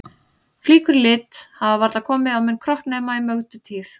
Flíkur í lit hafa varla komið á minn kropp nema í Mögdu tíð.